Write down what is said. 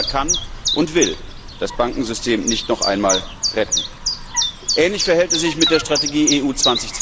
Der Steuerzahler kann und will das Bankensystem nicht noch einmal retten. Ähnlich verhält es sich mit der Strategie EU